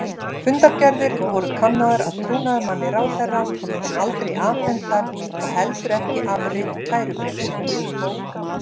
Fundargerðir voru kannaðar af trúnaðarmanni ráðherra en aldrei afhentar og heldur ekki afrit kærubréfsins.